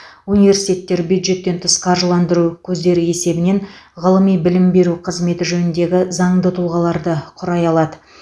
университеттер бюджеттен тыс қаржыландыру көздері есебінен ғылыми білім беру қызметі жөніндегі заңды тұлғаларды құрай алады